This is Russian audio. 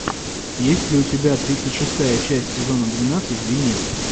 есть ли у тебя тридцать шестая часть сезона двенадцать винил